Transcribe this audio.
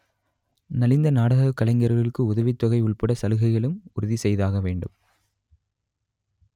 நலிந்த நாடக கலைஞர்களுக்கு உதவித் தொகை உள்பட சலுகைகளும் உறுதி செய்தாக வேண்டும்